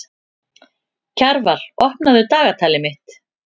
Kjarval, opnaðu dagatalið mitt.